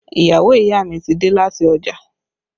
Ìyàwó ìyá mi ti dé láti ọjà